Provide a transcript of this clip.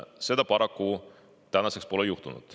Seda paraku tänaseks pole juhtunud.